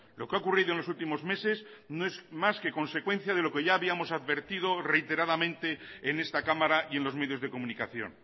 lo que ha ocurrido en los últimos meses no es más que consecuencia de lo que ya habíamos advertido reiteradamente en esta cámara y en los medios de comunicación